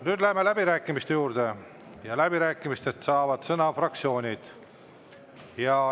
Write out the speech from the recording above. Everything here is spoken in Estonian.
Nüüd läheme läbirääkimiste juurde ja läbirääkimistel saavad sõna fraktsioonid.